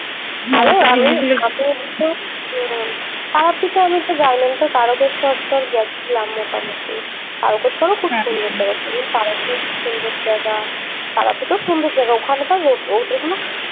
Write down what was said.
তারাপীঠে আমি তো যাইনি আমি তো তারকেশ্বর তোর গেছিলাম মোটামুটি তারকেশ্বর ও খুব সুন্দর জায়গা ছিল তারাপীঠ সুন্দর জায়গা তারাপীঠও সুন্দর জায়গা ওখান কার হট~ hotel গুলো